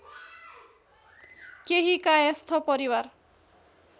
केही कायस्थ परिवार